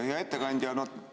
Hea ettekandja!